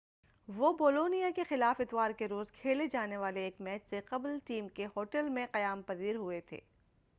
وہ بولونیا کے خلاف اتوار کے روز کھیلے جانے والے ایک میچ سے قبل ٹیم کے ہوٹل میں قیام پذیر ہوئے تھے